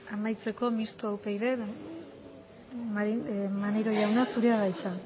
amaitzeko mistoa upyd maneiro jauna zurea da hitza